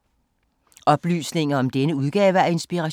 Oplysninger om denne udgave af Inspiration